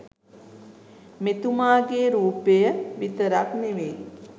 මෙතුමාගේ රූපය විතරක් නෙවෙයි